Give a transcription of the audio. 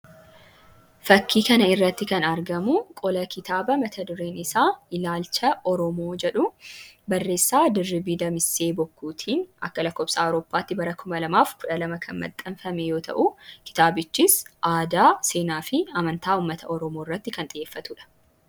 Fakkii kana irratti kan argamu qola kitaaba mata-dureen isaa 'Ilaalcha Oromoo' jedhu barreessaa Dirribii Damissee Bokkuutiin A. L. A tti 2012 kan maxxanfame yoo ta'u, kitaabichis aadaa, seenaa fi amantaa ummata Oromoo irratti kan xiyyeeffatu dha.